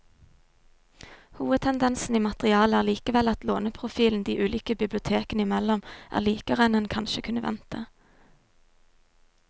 Hovedtendensen i materialet er likevel at låneprofilen de ulike bibliotekene imellom er likere enn en kanskje kunne vente.